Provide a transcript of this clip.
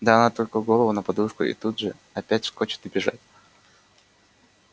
да она только голову на подушку и тут же опять вскочит и бежать